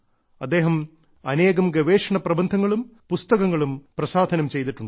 അദ്ദേഹം അനേകം ഗവേഷണ പ്രബന്ധങ്ങളും പുസ്തകങ്ങളും പ്രസാധനം ചെയ്തിട്ടുണ്ട്